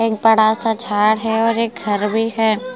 एक बड़ा सा झाड़ है और एक घर भी है ।